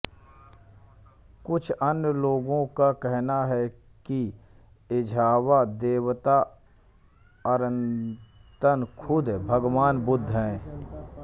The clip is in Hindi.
कुछ अन्य लोगों का कहना है कि एझावा देवता अरत्तन खुद भगवान बुद्ध हैं